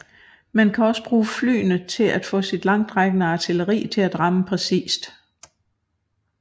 Man kan også bruge flyene til at få sit langtrækkende artilleri til at ramme præcist